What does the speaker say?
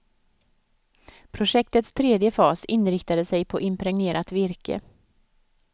Projektets tredje fas inriktade sig på impregnerat virke.